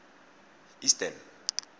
eastern